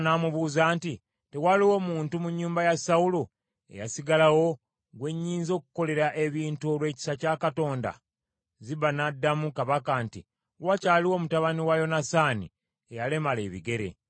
Kabaka n’amubuuza nti, “Tewaliwo muntu mu nnyumba ya Sawulo eyasigalawo gwe nnyinza okukolera ebirungi olw’ekisa kya Katonda?” Ziba n’addamu kabaka nti, “Wakyaliwo mutabani wa Yonasaani, eyalemala ebigere.”